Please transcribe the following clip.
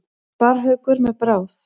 Sparrhaukur með bráð.